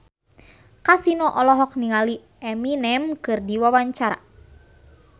Kasino olohok ningali Eminem keur diwawancara